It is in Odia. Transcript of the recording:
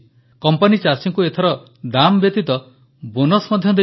କମ୍ପାନୀ ଚାଷୀଙ୍କୁ ଏଥର ଦାମ୍ ବ୍ୟତୀତ ବୋନସ୍ ମଧ୍ୟ ଦେଇଛି